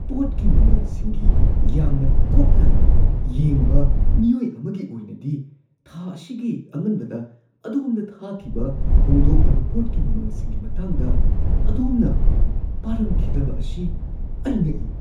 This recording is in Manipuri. ꯄꯣꯠꯀꯤ ꯃꯃꯜꯁꯤꯡꯒꯤ ꯌꯥꯝꯅ ꯀꯨꯞꯅ ꯌꯦꯡꯕ ꯃꯤꯑꯣꯏ ꯑꯃꯒꯤ ꯑꯣꯏꯅꯗꯤ, ꯊꯥ ꯑꯁꯤꯒꯤ ꯑꯉꯟꯕꯗ ꯑꯗꯣꯝꯗ ꯊꯥꯈꯤꯕ ꯍꯣꯡꯗꯣꯛꯂꯕ ꯄꯣꯠꯀꯤ ꯃꯃꯜꯁꯤꯡꯒꯤ ꯃꯇꯥꯡꯗ ꯑꯗꯣꯝꯅ ꯄꯥꯔꯝꯈꯤꯗꯕ ꯑꯁꯤ ꯑꯩ ꯉꯛꯏ ꯫ (ꯗꯨꯀꯥꯟꯒꯤ ꯀ꯭ꯂꯔꯛ)